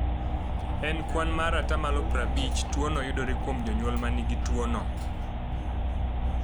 E kwan mar 50%, tuwono yudore kuom jonyuol ma nigi tuwono.